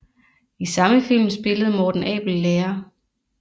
I samme film spillede Morten Abel lærer